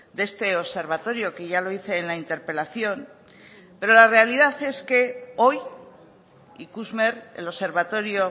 de este observatorio que ya lo hice en la interpelación pero la realidad es que hoy ikusmer el observatorio